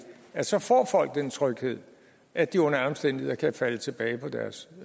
at så får folk den tryghed at de under alle omstændigheder kan falde tilbage på deres